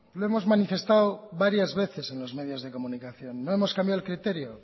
lo hemos manifestado varias veces en los medios de comunicación no hemos cambiado el criterio